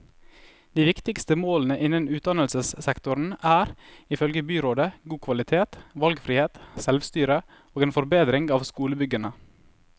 De viktigste målene innen utdannelsessektoren er, ifølge byrådet, god kvalitet, valgfrihet, selvstyre og en forbedring av skolebyggene.